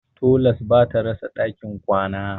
Tolas ba ta rasa ɗakin kwana.